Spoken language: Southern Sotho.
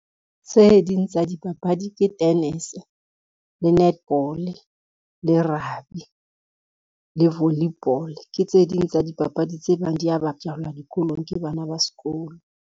Tse ding tsa dipapadi ke tennis, le netball, le rugby, le volleyball, ke tse ding tsa dipapadi tse bang dia bapalwa dikolong ke bana ba sekolo.